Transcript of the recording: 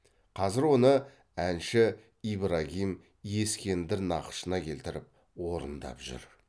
қазір оны әнші ибрагим ескендір нақышына келтіріп орындап жүр